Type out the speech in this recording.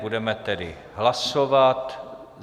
Budeme tedy hlasovat.